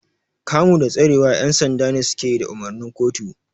Kamu da tsarewa ƴan sanda ne suke yi da umarnin kotu.